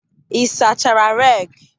ị sachara reki?